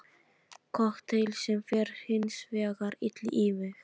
Kokteill sem fer hinsvegar illa í mig.